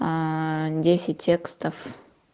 аа десять текстов